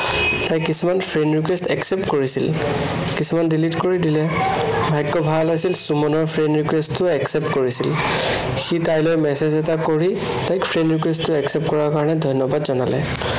তাই কিছুমান friend request accept কৰিছিল। কিছুমান delete কৰি দিলে। ভাগ্য় ভাল আছিল, সুমনৰ friend request টো accept কৰিছিল। সি তাইলৈ message এটা কৰি তাইক friend request টো accept কৰাৰ কাৰনে ধন্য়াবাদ জনালে।